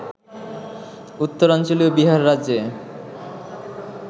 উত্তরাঞ্চলীয় বিহার রাজ্যে